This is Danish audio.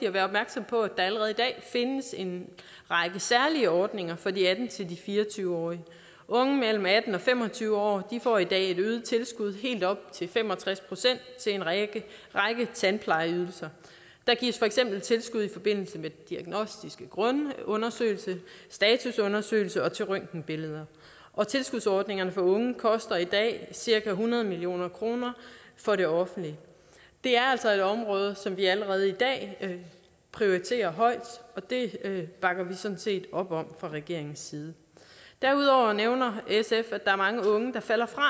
at være opmærksom på at der allerede i dag findes en række særlige ordninger for de atten til fire og tyve årige unge mellem atten og fem og tyve år får i dag et øget tilskud på helt op til fem og tres procent til en række tandplejeydelser der gives for eksempel tilskud i forbindelse med diagnostiske grundundersøgelse og statusundersøgelse og til røntgenbilleder og tilskudsordningerne for unge koster i dag cirka hundrede million kroner for det offentlige det er altså et område som vi allerede i dag prioriterer højt og det bakker vi sådan set op om fra regeringens side derudover nævner sf at der er mange unge der falder fra